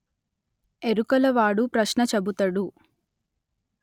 ఎరుకల వాడు ప్రశ్న చెబుతడు